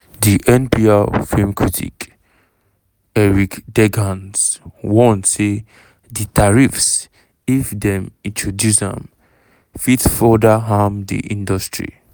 and npr radio film critic eric deggans warn say di tariffs if dem introduce am fit further harm di industry.